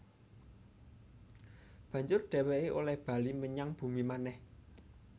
Banjur dhèwèké olèh bali menyang bumi manèh